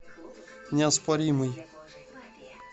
неоспоримый